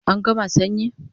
An gama sanyi